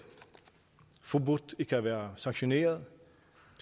forbudt ikke at være sanktioneret